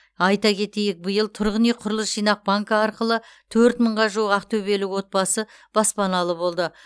айта кетейік биыл тұрғын үй құрылыс жинақ банкі арқылы төрт мыңға жуық ақтөбелік отбасы баспаналы болды